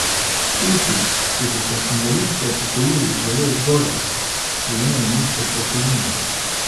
Tisti, ki so se invalidsko upokojili zelo zgodaj, prejemajo nizko pokojnino.